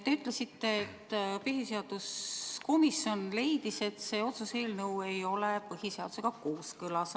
Te ütlesite, et põhiseaduskomisjon leidis, et see otsuse eelnõu ei ole põhiseadusega kooskõlas.